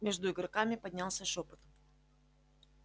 между игроками поднялся шёпот